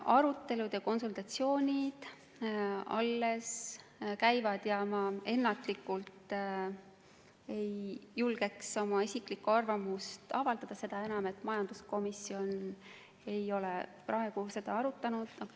Arutelud ja konsultatsioonid alles käivad ja ma ennatlikult ei julge oma isiklikku arvamust avaldada, seda enam, et majanduskomisjon ei ole seda arutanud.